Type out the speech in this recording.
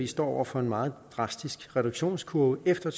står over for en meget drastisk reduktionskurve efter